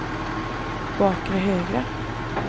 bakre högra